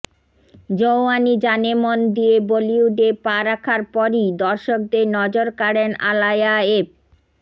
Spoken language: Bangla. জওয়ানি জানেমন দিয়ে বলিউডে পা রখার পরই দর্শকদের নজর কাড়েন আলায়া এফ